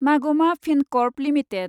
मागमा Fincorp limited